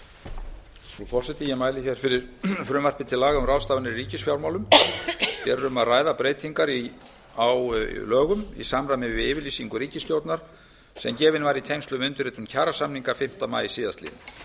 frú forseti ég mæli fyrir frumvarpi til laga um ráðstafanir í ríkisfjármálum hér er um að ræða breytingar á lögum í samræmi við yfirlýsingu ríkisstjórnar sem gefin var í tengslum við undirritun kjarasamninga fimmta maí síðastliðinn